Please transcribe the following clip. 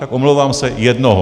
Tak omlouvám se, jednoho.